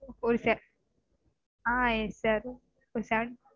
ஒரு seventy ஆஹ் இருக்கார்